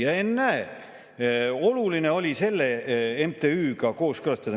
Ja ennäe, oluline oli selle MTÜ‑ga kooskõlastada.